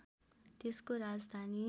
त्यसको राजधानी